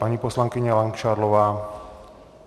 Paní poslankyně Langšádlová.